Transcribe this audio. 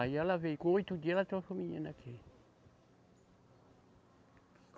Aí ela veio, com oito dias, ela trouxe o menino aqui.